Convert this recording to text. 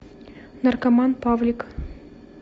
наркоман павлик